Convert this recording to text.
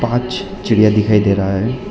पांच चिड़िया दिखाई दे रहा है।